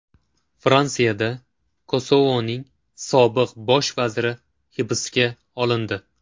Fransiyada Kosovoning sobiq bosh vaziri hibsga olindi.